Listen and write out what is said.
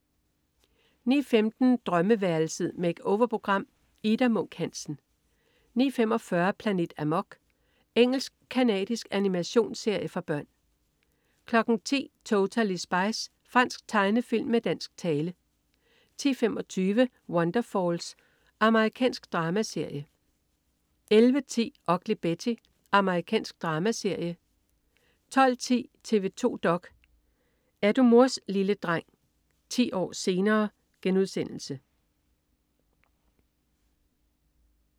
09.15 Drømmeværelset. Make-over-program. Ida Munk Hansen 09.45 Planet Amok. Engelsk-canadisk animationsserie for børn 10.00 Totally Spies. Fransk tegnefilm med dansk tale 10.25 Wonderfalls. Amerikansk dramaserie 11.10 Ugly Betty. Amerikansk dramaserie 12.10 TV 2 dok.: Er du mors lille dreng? 10 år senere*